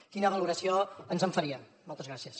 quina valoració ens en faria moltes gràcies